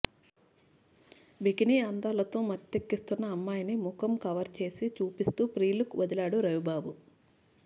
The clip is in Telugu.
బికినీ అందాలతో మత్తెక్కిస్తున్న అమ్మాయిని ముఖం కవర్ చేసి చూపిస్తూ ప్రి లుక్ వదిలాడు రవిబాబు